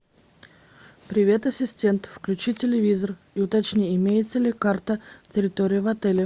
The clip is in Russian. привет ассистент включи телевизор и уточни имеется ли карта территории в отеле